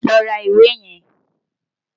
Lọ ra ìwé yẹn!